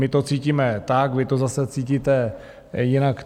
My to cítíme tak, vy to zase cítíte jinak.